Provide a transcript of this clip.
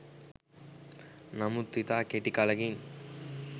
නමුත් ඉතා කෙටි කලෙකින්